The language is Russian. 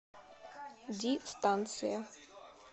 ди станция